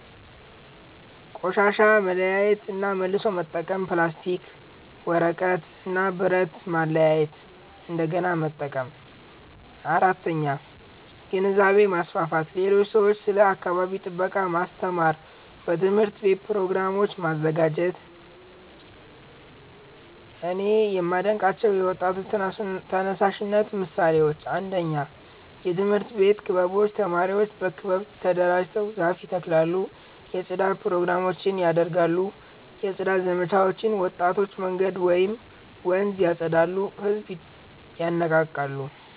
ቆሻሻ መለያየት እና መልሶ መጠቀም ፕላስቲክ፣ ወረቀት እና ብረት ማለያየት እንደገና መጠቀም 4. ግንዛቤ ማስፋፋት ሌሎች ሰዎችን ስለ አካባቢ ጥበቃ ማስተማር በትምህርት ቤት ፕሮግራሞች ማዘጋጀት 2)እኔ የማዴንቃቸው የወጣቶች ተነሳሽነት ምሳሌዎች 1 የትምህርት ቤት ክበቦች ተማሪዎች በክበብ ተደራጅተው ዛፍ ይተክላሉ የጽዳት ፕሮግራሞች ያደርጋሉ 2 የጽዳት ዘመቻዎች ወጣቶች መንገድ ወይም ወንዝ ያፀዳሉ ህዝብን ይነቃቃሉ